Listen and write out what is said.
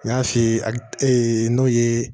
N y'a f'i ye a ee n'o ye